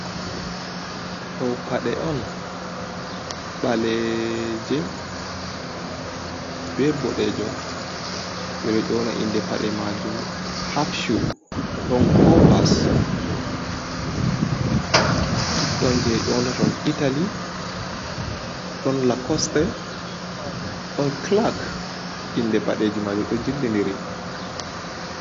Ɗo paɗe on, ɓaleje be boɗejum, ɓeɗo ƴona inde paɗe majum hafchu, ɗon kovas, ɗon je ƴonata ɗum italy, ɗon lakostei, ɗon kilak inde paɗeji majum, ɗo jilliiri kilak.